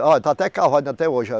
Olha, está até cavado, ainda até hoje.